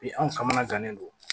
Bi anw kamana gannen don